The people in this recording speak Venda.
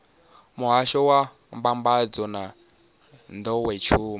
muhasho wa mbambadzo na nḓowetshumo